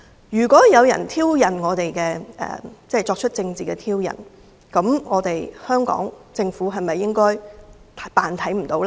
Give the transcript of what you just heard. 如果有人作出政治的挑釁，香港政府應否扮作看不見呢？